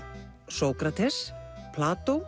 Sókrates